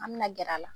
An bɛna gɛrɛ a la